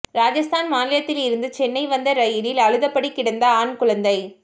ராஜஸ்தான் மாநிலத்திலிருந்து சென்னை வந்த ரயிலில் அழுதபடி கிடந்த ஆண் குழந்தை